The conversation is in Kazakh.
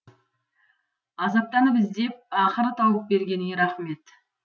азаптанып іздеп ақыры тауып бергеніңе рахмет